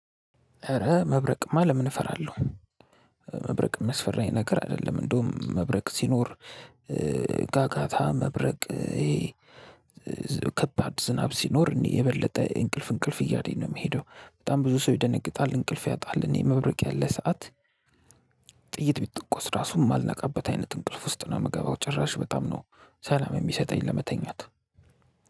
ኧረ መብረቅማ ለምን እፈራለሁ? መብረቅ ሚያስፈራኝ ነገር አይደለም። እንደውም መብረቅ ሲኖር ጋጋታ መብረቅ ይሄ ከባድ ዝናብ ሲኖር እኔ የበለጠ እንቅልፍ እንቅልፍ እያለኝ ነው የምሄደው። በጣም ብዙ ሰው ይደነግጣል እንቅልፍ ያጣል። እኔ መብረቅ ያለ ሰዓት ጥይት ቢቶኮስ ራሱን የማልነቃበት አይነት እንቅልፍ ውስጥ ነው የምገባው። ጭራሽ በጣም ነው ሰላም የሚሰጠኝ ለመተኛት